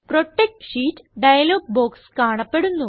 protect sheet dialog box കാണപ്പെടുന്നു